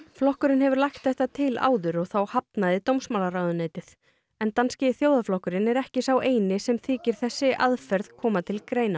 flokkurinn hefur lagt þetta til áður og þá hafnaði dómsmálaráðuneytið því en danski þjóðarflokkurinn er ekki sá eini sem þykir þessi aðferð koma til greina